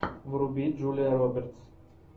вруби джулия робертс